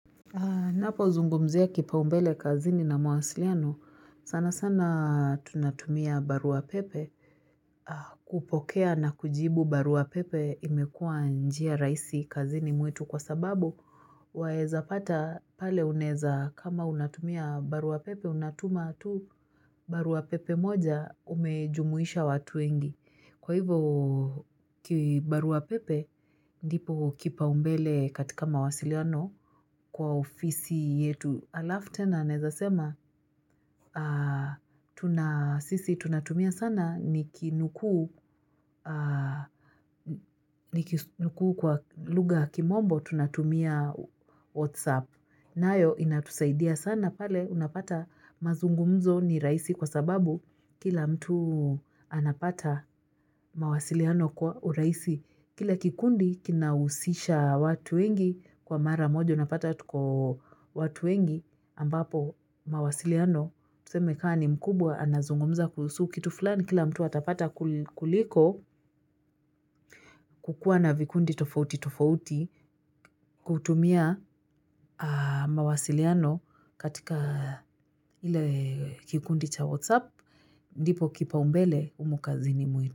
Napo zungumzia kipaumbele kazini na mawasiliano, sana sana tunatumia baruapepe kupokea na kujibu baruapepe imekua njia rahisi kazini mwetu kwa sababu waeza pata pale unaeza kama unatumia baruapepe unatuma tu baruapepe moja umejumuisha watu wengi kwa hivyo kibarua pepe ndipo kipaumbele katika mawasiliano kwa ofisi yetu. Alafu tena naeza sema, sisi tunatumia sana nikinukuu nikinukuu kwa lugha ya kimombo tunatumia whatsapp. Nayo inatusaidia sana pale unapata mazungumzo ni rahisi kwa sababu kila mtu anapata mawasiliano kwa urahisi. Kila kikundi kinahusisha watu wengi kwa mara moja unapata tuko watu wengi ambapo mawasiliano. Tuseme kama ni mkubwa anazungumza kuhusu kitu fulani kila mtu atapata kuliko kukuwa na vikundi tofauti tofauti kutumia mawasiliano katika ile kikundi cha whatsapp ndipo kipaumbele humu kazini mwetu.